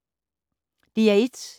DR1